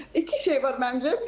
İki şey var məncə.